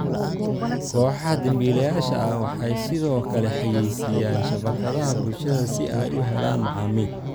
Kooxaha dambiilayaasha ah waxay sidoo kale xayeysiiyaan shabakadaha bulshada si ay u helaan macaamiil.